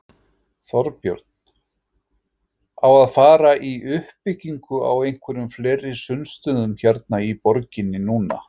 Þorbjörn: Á að fara í uppbyggingu á einhverjum fleiri sundstöðum hérna í borginni núna?